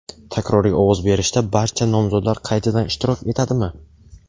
Takroriy ovoz berishda barcha nomzodlar qaytadan ishtirok etadimi?.